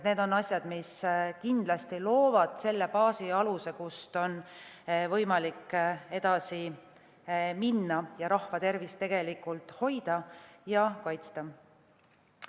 Need on asjad, mis kindlasti loovad selle baasi ja aluse, kust on võimalik edasi minna ning rahva tervist hoida ja kaitsta.